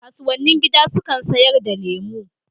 Kasuwannin gida sukan sayar da lemu